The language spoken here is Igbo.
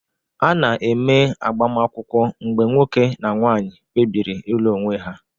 A na-eme agbamakwụkwọ mgbe nwoke na nwanyị kpebiri ịlụ onwe ha